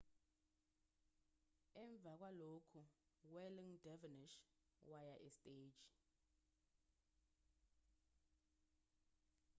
emva kwalokhuu-whirling dervishes waya esteji